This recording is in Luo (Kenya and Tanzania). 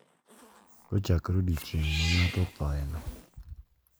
Kochakore odiechieng` ma ng`ato othoyeno,